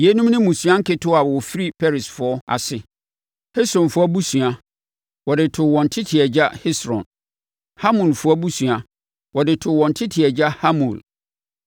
Yeinom ne mmusua nketewa wɔfiri Peresfoɔ ase. Hesronfoɔ abusua, a wɔde too wɔn tete agya Hesron. Hamulfoɔ abusua, wɔde too wɔn tete agya Hamul.